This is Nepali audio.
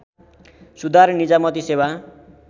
सुधार निजामती सेवा